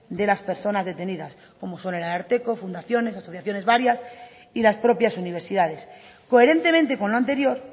de las personas detenidas como son el ararteko fundaciones asociaciones varias y las propias universidades coherentemente con lo anterior